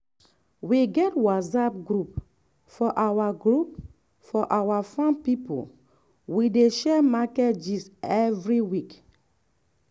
we get whatsapp group for our group for our um farm people wey dey share market gist every week.